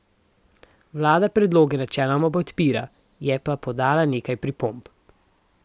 Vlada predloge načeloma podpira, je pa podala nekaj pripomb.